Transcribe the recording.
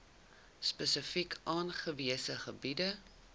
spesifiek aangewese gebiede